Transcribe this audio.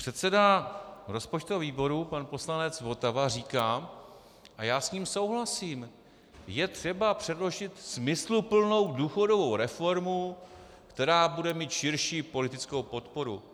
Předseda rozpočtového výboru pan poslanec Votava říká, a já s ním souhlasím - je třeba předložit smysluplnou důchodovou reformu, která bude mít širší politickou podporu.